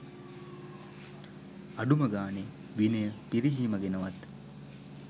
අඩුම ගානේ විනය පිරිහීම ගැනවත්